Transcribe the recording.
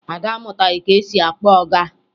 Ada amụtaghị ka esi akpọ ọga